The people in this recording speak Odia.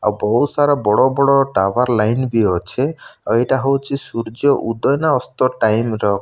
ଆଉ ବହୁତ୍ ସାରା ବଡ଼ ବଡ଼ ଟାୱାର ଲାଇନ୍ ବି ଅଛେ। ଆଉ ଏଇଟା ହଉଚି ସୂର୍ଯ୍ୟ ଉଦୟ ନା ଅସ୍ତ ଟାଇମ୍ ର --